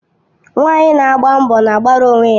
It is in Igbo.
Nwanyị na agba mbọ na-agbara onwe ya.